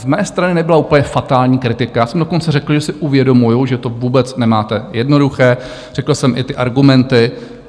Z mé strany nebyla úplně fatální kritika, já jsem dokonce řekl, že si uvědomuju, že to vůbec nemáte jednoduché, řekl jsem i ty argumenty.